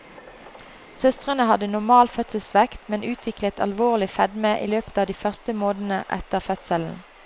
Søstrene hadde normal fødselsvekt, men utviklet alvorlig fedme i løpet av de første månedene etter fødselen.